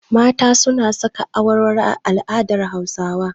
Mata suna saka awarwaro a al'adar Hausawa.